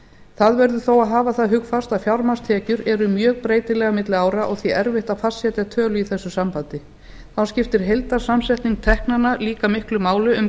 það verður þó að hafa það hugfast að fjármagnstekjur eru mjög breytilegar milli ára og því erfitt að fastsetja tölu í þessu sambandi þá skiptir heildarsamsetning teknanna líka miklu máli um